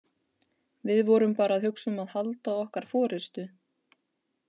Við vorum bara að hugsa um að halda okkar forystu.